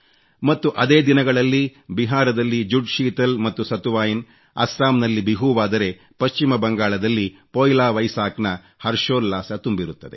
ಮತ್ತು ಅದೇ ದಿನಗಳಲ್ಲಿ ಬಿಹಾರದಲ್ಲಿ ಜುಡ್ ಶೀತಲ್ ಮತ್ತು ಸತುವಾಯಿನ್ ಅಸ್ಸಾಂ ನಲ್ಲಿ ಬಿಹೂವಾದರೆ ಪಶ್ಚಿಮ ಬಂಗಾಳದಲ್ಲಿ ಪೋಯ್ಲಾ ವೈಸಾಖ್ ನ ಹರ್ಷೋಲ್ಲಾಸ ತುಂಬಿರುತ್ತದೆ